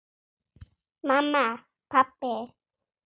Mamma. pabbi.